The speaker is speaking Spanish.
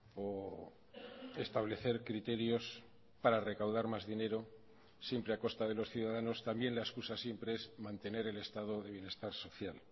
o establecer criterios para recaudar más dinero siempre a costa de los ciudadanos también la excusa siempre es mantener el estado de bienestar social